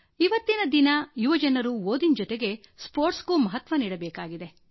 ಇವತ್ತಿನ ದಿನ ಯುವಜನರು ಓದಿನ ಜೊತೆಗೆ ಕ್ರೀಡೆಗೂ ಮಹತ್ವ ನೀಡಬೇಕಾಗಿದೆ